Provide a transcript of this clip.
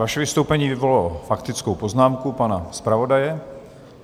Vaše vystoupení vyvolalo faktickou poznámku pana zpravodaje.